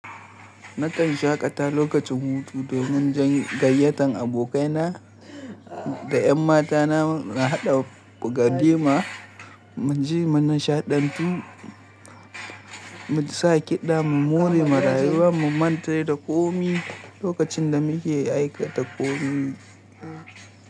Nakan shaƙata lokacin hutu domin gayyatar abokaina da ƴan matana na haɗa walima, mu ji munishaɗantu, mu sa kiɗa, mu more marayuwa, mu manta da komai lokacin da muke aikata komai.